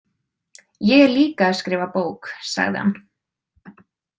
Ég er líka að skrifa bók, sagði hann.